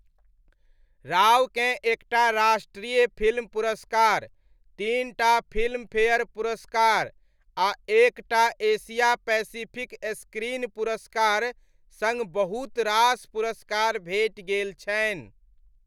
रावकेँ एक टा राष्ट्रीय फिल्म पुरस्कार, तीन टा फिल्मफेयर पुरस्कार आ एक टा एशिया पैसिफिक स्क्रीन पुरस्कार सङ्ग बहुत रास पुरस्कार भेटि गेल छनि।